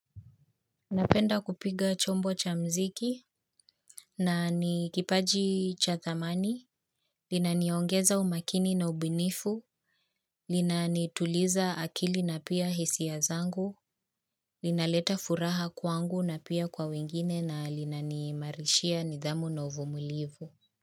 Napenda kupiga chombo cha mziki na ni kipaji cha thamani inaniongeza umakini na ubunifu. Linanituliza akili na pia hisia ya zangu. Linaleta furaha kwangu na pia kwa wengine na linani imarishia nidhamu na uvumulivu.